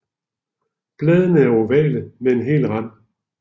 Bladene er ovale med hel rand